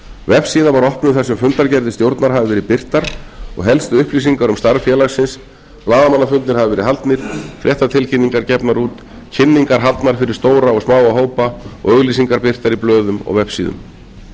vefsíða var opnuð þar sem fundargerðir stjórnar hafa verið birtar og helstu upplýsingar um starf félagsins blaðamannafundir hafa verið haldnir fréttatilkynningar gefnar út kynningar haldnar fyrir stóra og smáa hópa og auglýsingar birtar í blöðum og vefsíðum